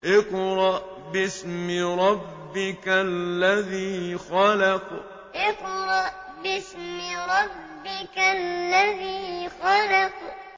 اقْرَأْ بِاسْمِ رَبِّكَ الَّذِي خَلَقَ اقْرَأْ بِاسْمِ رَبِّكَ الَّذِي خَلَقَ